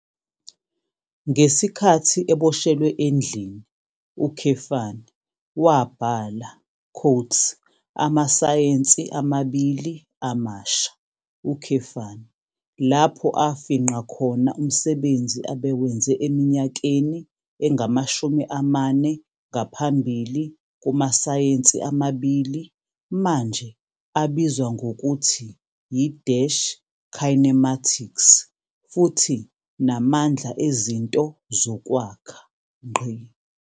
Ngesikhathi eboshelwe endlini, wabhala "Amasayensi Amabili Amasha", lapho afingqa khona umsebenzi abewenze eminyakeni engamashumi amane ngaphambili kumasayensi amabili manje abizwa ngokuthi yi- kinematics futhi namandla ezinto zokwakha.